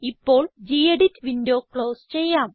ഇപ്പോൾ gedit window close ചെയ്യാം